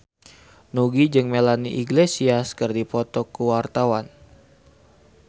Nugie jeung Melanie Iglesias keur dipoto ku wartawan